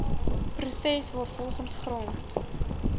proses waarvolgens grond